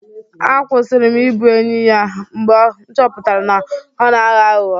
A kwụsịrị m ịbụ enyi ya mgbe m chọpụtara na ọ na-aghọ aghụghọ.